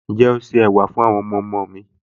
Ǹjẹ́ o se ẹ̀wà fún àwọn ọmọọmọ mi